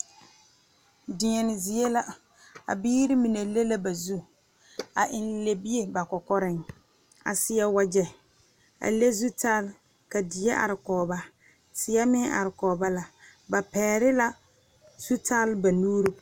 Deɛmo zie la kaa biiri mine su kaayɛ sɔgelɔ ba mine kaayɛ zeere ba mime kaayɛ bonsɔgelɔ ka bɔɔl be be ka teere are kɔge a be ka dire meŋ are kaa biiri paŋ kpɛerɛ